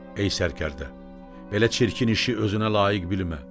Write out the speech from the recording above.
Ey sərkərdə, belə çirkin işi özünə layiq bilmə.